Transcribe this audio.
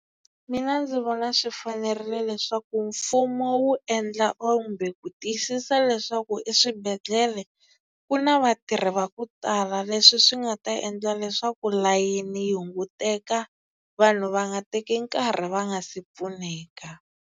Mina ndzi vona swi fanerile leswaku mfumo wu endla or kumbe ku tiyisisa leswaku eswibedhlele ku na vatirhi va ku tala. Leswi swi nga ta endla leswaku layeni yi hunguteka vanhu va nga teki nkarhi va nga si pfuneka.